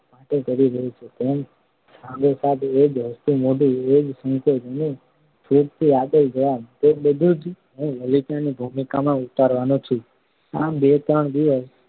માટે કરી રહ્યો છું. તેમ સાંગોપાંગ એ જ હસતું મોઢું એ જ સંકાચ અને છૂટથી આપેલા જવાબ તે બધું જ હું લલિતા ની ભૂમિકામાં ઉતારવાનો છું. આમ બે ત્રણ દિવસ